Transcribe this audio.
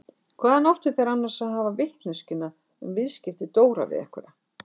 Hvaðan áttu þeir annars að hafa vitneskjuna um viðskipti Dóra við einhverja?